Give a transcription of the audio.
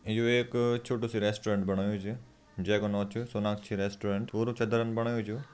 यूं एक छोटू सी रेस्टोरेंट बणयूँ च जे को न च सोनकछि रेस्टोरेंट पुरू चदरंन बडायूं च यूं।